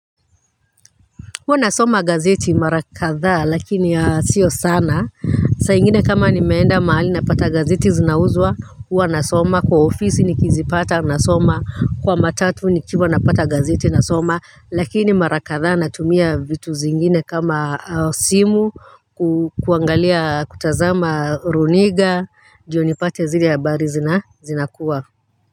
Huwa nasoma gazeti marakadha lakini sio sana saa ingine kama nimeenda mahali napata gazeti zinauzwa huwa nasoma kwa ofisi nikizipata nasoma kwa matatu nikiva napata gazeti nasoma lakini marakadha natumia vitu zingine kama simu kuangalia kutazama runinga ndiyo nipate zile habari zinakuwa.